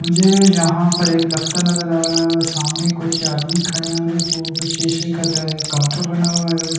मुझे जहां पर एक दफ्तर नजर आ रहा है और सामने कुछ आदमी खड़े है और एक ओ सीसे का दा काउंटर बना हुआ है और उसके--